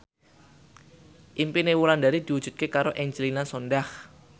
impine Wulandari diwujudke karo Angelina Sondakh